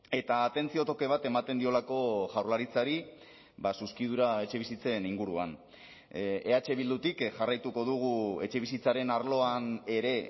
eta atentzio toke bat ematen diolako jaurlaritzari zuzkidura etxebizitzen inguruan eh bildutik jarraituko dugu etxebizitzaren arloan ere